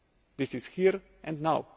mistaken. This is here